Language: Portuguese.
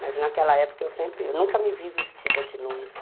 Mas naquela época eu sempre, eu nunca me vi vestida de noiva.